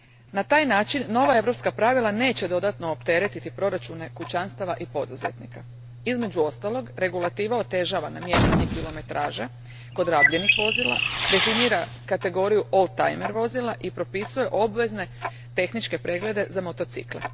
Na taj način, nova europska pravila neće dodatno opteretiti proračune kućanstava i poduzetnika. Između ostalog, regulativa otežava namještanje kilometraže kod rabljenih vozila, definira kategoriju old timer vozila i propisuje obvezne tehničke preglede za motocikle.